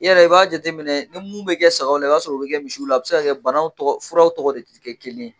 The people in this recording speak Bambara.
I yɛrɛ i b'a jateminɛ ni mun bɛ kɛ sagaw la i b'a sɔr'o bɛ kɛ misiw la, a bɛ se ka banaw tɔgɔ furaw tɔgɔ de tɛ kɛ kelen ye.